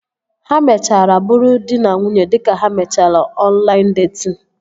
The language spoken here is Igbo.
Ha mechara bụrụ dị na nwunye dịka ha mechara ọnlaịn detin